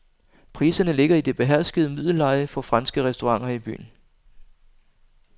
Priserne ligger i det beherskede middelleje for franske restauranter i byen.